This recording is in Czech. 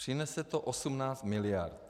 Přinese to 18 miliard.